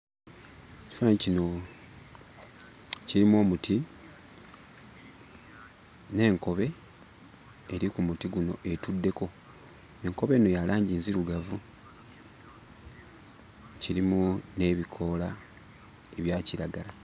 Ekifaananyi kino kirimu omuti n'enkobe eri ku muti guno etuddeko. Enkobe eno ya langi nzirugavu, kirimu n'ebikoola ebya kiragala.